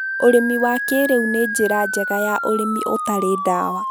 Ũrĩmi wa kĩrĩu nĩ njĩra njega ya ũrĩmi ũtarĩ dawa